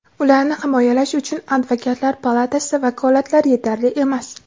ularni himoyalash uchun Advokatlar palatasida vakolatlar yetarli emas.